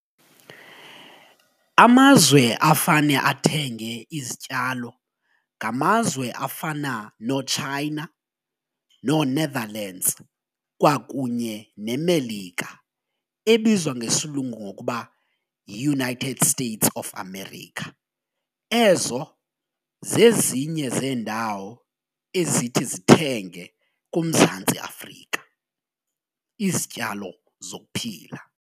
Amazwe afane athenge izityalo ngamazwe afana noChina, nooNetherlands kwakunye neMelika ebizwa ngesilungu ngokuba yiUnited States of America. Ezo zezinye zeendawo ezithi zithenge kuMzantsi Afrika izityalo zokuphila.